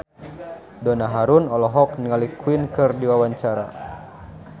Donna Harun olohok ningali Queen keur diwawancara